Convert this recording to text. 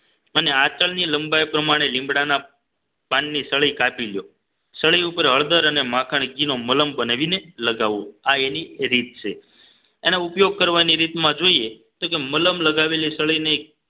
અને આચળની લંબાઈ પ્રમાણે લીમડાના પાન ની સળી કાપી લ્યો સળી ઉપર હળદર અને માખણ ઘી નો મલમ બનાવીને લગાવો આ એની રીત છે એનો ઉપયોગ કરવાની રીતમાં જોઈએ તો કે મલમ લગાવેલી સળી ને